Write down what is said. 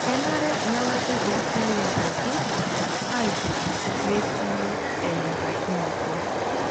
Kenare nelaki laisayiak pookin aitoris metii enyorikinoto.